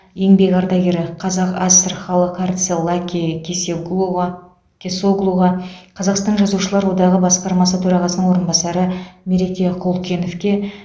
еңбек ардагері қазақ аср халық әртісі лаки кеснголуға кесоглуға қазақстан жазушылар одағы басқармасы төрағасының орынбасары мереке құлкеновке